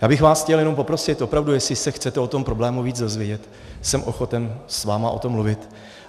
Já bych vás chtěl jenom poprosit, opravdu, jestli se chcete o tom problému víc dozvědět, jsem ochoten s vámi o tom mluvit.